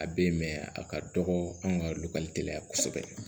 A bɛ yen mɛ a ka dɔgɔ anw ka du ka teliya kosɛbɛ